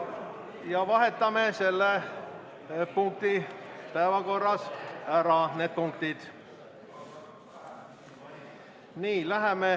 Vahetame päevakorras need punktid ära.